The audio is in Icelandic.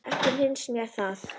Ekki finnst mér það.